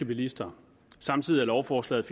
bilister samtidig er lovforslaget